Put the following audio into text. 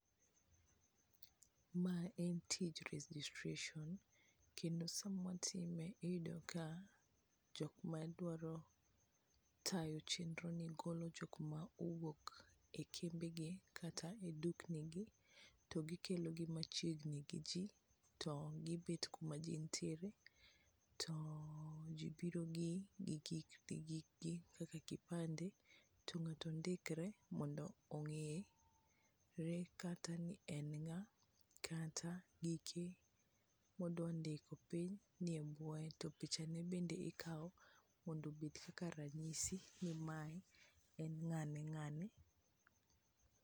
Mae en tij registration kendo sama watime, iyudo ka jok madwaro tayo chenroni golo jok ma owuok e kembegi kata e duknigi to gikelogi machiegni gi ji to gibet kuma ji ntiere to ji biro gi gikgi kaka kipande to ng'ato ndikre mondo ong'ere kata ni en ng'a kata giki modwa ndiko piny ni e bwoye, to pichane bende ikawo mondo obed kaka ranyisi ni mae en ng'ane ng'ane.